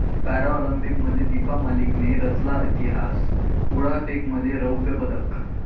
पॅराऑलिम्पिकमध्ये दीपा मलिकने रचला इतिहास, गोळाफेकमध्ये रौप्य पदक